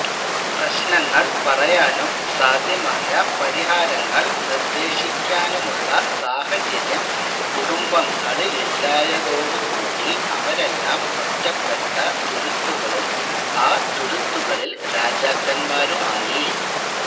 പ്രശ്നങ്ങള് പറയാനും സാധ്യമായ പരിഹാരങ്ങള് നിര്ദ്ദേശിക്കാനുമുള്ള സാഹചര്യം കുടുംബങ്ങളിലില്ലാതായതോടു കൂടി അവരെല്ലാം ഒറ്റപ്പെട്ട തുരുത്തുകളും ആ തുരുത്തുകളില് രാജാക്കന്മാരുമായി